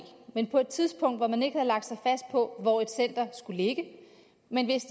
men på et tidspunkt hvor man ikke havde lagt sig fast på hvor et center skulle ligge